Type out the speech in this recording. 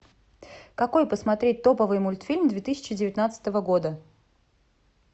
какой посмотреть топовый мультфильм две тысячи девятнадцатого года